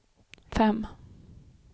fem